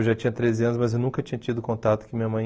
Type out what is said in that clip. Eu já tinha treze anos, mas eu nunca tinha tido contato com minha mãe.